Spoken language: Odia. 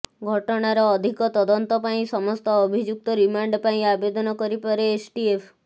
ଘଟଣାର ଅଧିକ ତଦନ୍ତ ପାଇଁ ସମସ୍ତ ଅଭିଯୁକ୍ତ ରିମାଣ୍ଡ ପାଇଁ ଆବେଦନ କରିପାରେ ଏସଟିଏଫ